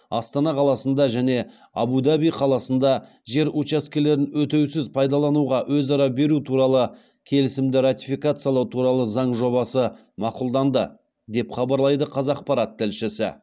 астана қаласында және әбу даби қаласында жер учаскелерін өтеусіз пайдалануға өзара беру туралы келісімді ратификациялау туралы заң жобасы мақұлданды деп хабарлайды қазақпарат тілшісі